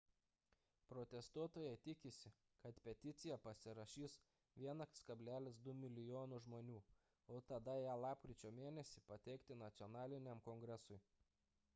protestuotojai tikisi kad peticiją pasirašys 1,2 mln žmonių o tada ją lapkričio mėn. pateikti nacionaliniam kongresui